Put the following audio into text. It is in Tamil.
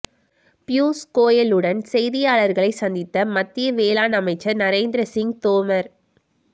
பியூஷ் கோயலுடன் செய்தியாளர்களை சந்தித்த மத்திய வேளாண் அமைச்சர் நரேந்திர சிங் தோமர்